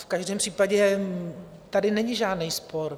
V každém případě tady není žádný spor.